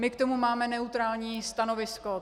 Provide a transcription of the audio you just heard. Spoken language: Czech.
My k tomu máme neutrální stanovisko.